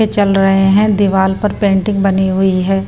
चल रहे हैं दीवार पर पेंटिंग बनी हुई है।